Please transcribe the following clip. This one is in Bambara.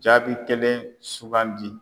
Jaabi kelen sugandi.